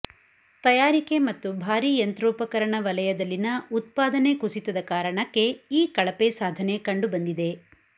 ತಯಾರಿಕೆ ಮತ್ತು ಭಾರಿ ಯಂತ್ರೋಪಕರಣ ವಲಯದಲ್ಲಿನ ಉತ್ಪಾದನೆ ಕುಸಿತದ ಕಾರಣಕ್ಕೆ ಈ ಕಳಪೆ ಸಾಧನೆ ಕಂಡು ಬಂದಿದೆ